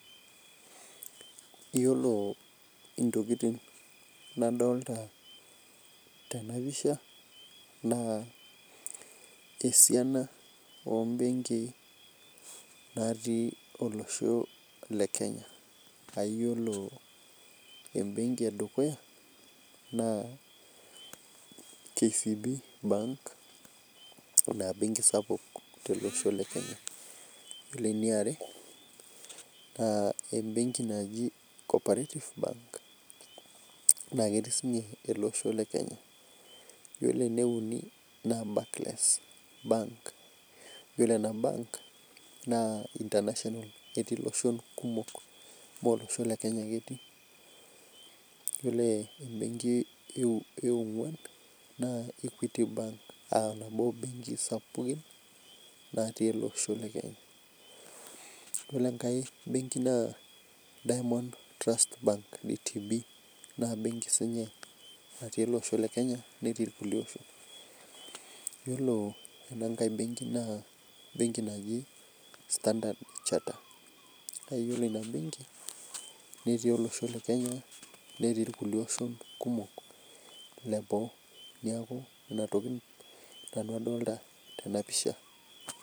Yiolo ntokiting nadolita tena pisha ,naa esiana ombenki natii olosho lekenya. Yiolo benki edukuya naa KCB bank na benki sapuk tolosho lekenya .Ore eniare naa embenki naji cooperative bank naa ketii siininye ele osho lekenya, yiolo ene uni naa barclays bank na yiolo ena benki naa international etii loshon kumok, mee olosho lekenya ake etii. Yiolo ene ongwan naa equity bank naaa nabo ombekii sapukin natii ele osho lekenya. Yiolo enkae benki naa diamond trust bank naa benki siininye natii ele osho lekenya netii irkulie oshon. Yiolo enankae benki naa embenki naji standard chartered yiolo ina benki netii olosho lekenya netii irkulie oshon kumok leboo .Neeku nena tokiting nanu adolita tena pisha.